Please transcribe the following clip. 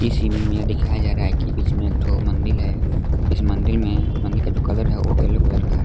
Scene मे यह दिखाया जा कि बीच मे एक ठो मन्दिल है इस मन्दिल मंदिर में मंदिर का जो कलर है वो यलो कलर का है।